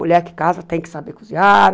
Mulher que casa tem que saber cozinhar.